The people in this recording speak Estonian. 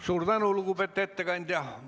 Suur tänu, lugupeetud ettekandja!